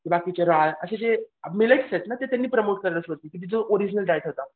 बाकीचे राळ असे जे मिलेक्स आहेत ना ते त्यांनी प्रमोट करायला सुरुवात केली. जो ओरीजनल डायट होता.